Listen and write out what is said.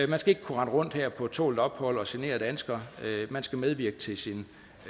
man skal ikke kunne rende rundt her på tålt ophold og genere danskere man skal medvirke til sin